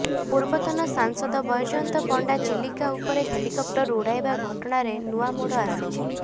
ପୂର୍ବତନ ସାଂସଦ ବୈଜୟନ୍ତ ପଣ୍ଡା ଚିଲିକା ଉପରେ ହେଲିକପ୍ଟର ଉଡ଼ାଇବା ଘଟଣାରେ ନୂଆ ମୋଡ଼ ଆସିଛି